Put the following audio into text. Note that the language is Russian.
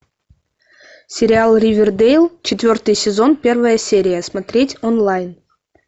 сериал ривердейл четвертый сезон первая серия смотреть онлайн